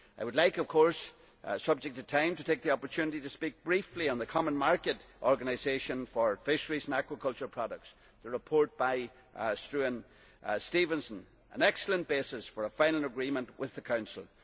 I would like, of course subject to time, to take the opportunity to speak briefly on the common market organisation for fisheries and agriculture products and the report by Struan Stevenson, which is an excellent basis for a final agreement with the Council.